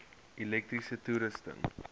elektriese toerusting